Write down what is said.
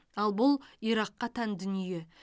ал бұл иракқа тән дүние